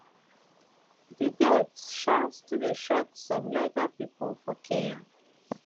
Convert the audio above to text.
di death um still dey shock some legal pipo for kenya